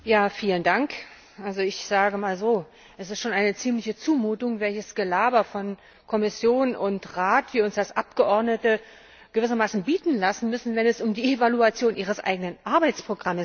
Herr Präsident! Ich sage mal so Es ist schon eine ziemliche Zumutung, welches Gelaber von Kommission und Rat wir uns als Abgeordnete gewissermaßen bieten lassen müssen, wenn es um die Evaluation ihres eigenen Arbeitsprogramms geht.